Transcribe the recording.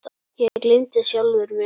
Ég gleymdi sjálfum mér.